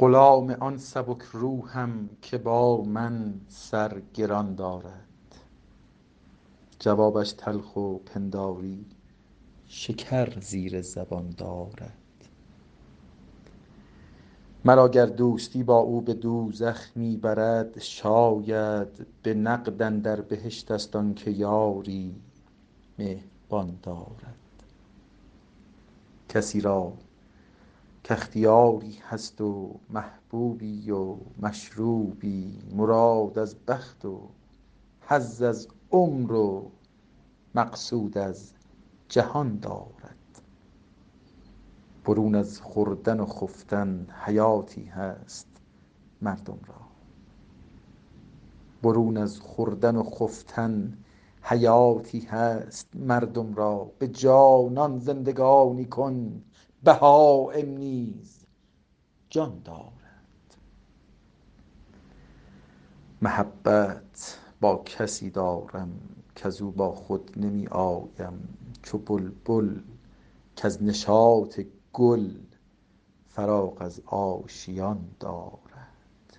غلام آن سبک روحم که با من سر گران دارد جوابش تلخ و پنداری شکر زیر زبان دارد مرا گر دوستی با او به دوزخ می برد شاید به نقد اندر بهشت ست آن که یاری مهربان دارد کسی را کاختیاری هست و محبوبی و مشروبی مراد از بخت و حظ از عمر و مقصود از جهان دارد برون از خوردن و خفتن حیاتی هست مردم را به جانان زندگانی کن بهایم نیز جان دارد محبت با کسی دارم کز او با خود نمی آیم چو بلبل کز نشاط گل فراغ از آشیان دارد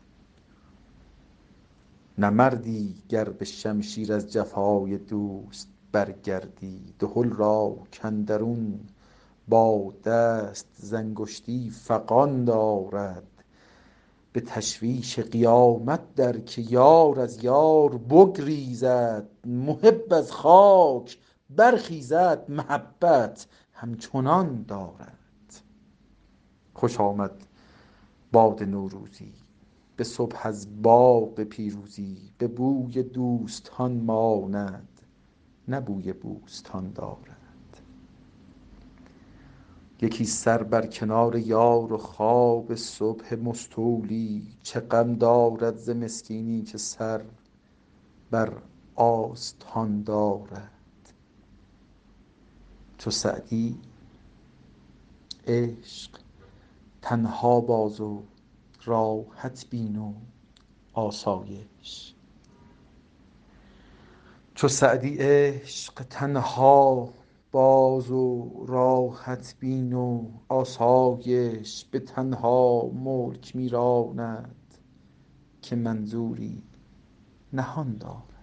نه مردی گر به شمشیر از جفای دوست برگردی دهل را کاندرون باد است ز انگشتی فغان دارد به تشویش قیامت در که یار از یار بگریزد محب از خاک برخیزد محبت همچنان دارد خوش آمد باد نوروزی به صبح از باغ پیروزی به بوی دوستان ماند نه بوی بوستان دارد یکی سر بر کنار یار و خواب صبح مستولی چه غم دارد ز مسکینی که سر بر آستان دارد چو سعدی عشق تنها باز و راحت بین و آسایش به تنها ملک می راند که منظوری نهان دارد